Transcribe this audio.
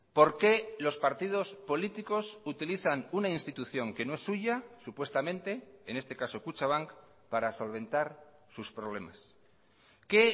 por qué los partidos políticos utilizan una institución que no es suya supuestamente en este caso kutxabank para solventar sus problemas qué